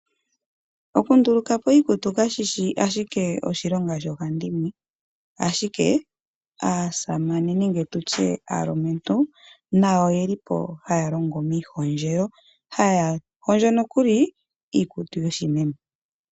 Oku ndulukapo iikutu kashishi ashike oshilonga shomunkiintu. Ashike aasamane nenge tutye aalumentu nayo oyeli po haya longo miihondjelo. Haya hondjo nokuli iikutu yoshimeme.